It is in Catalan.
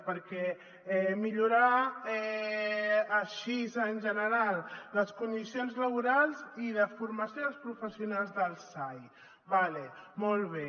perquè millorar així en general les condicions laborals i de formació dels professionals del sai d’acord molt bé